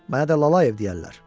Mənə də Lalayev deyərlər.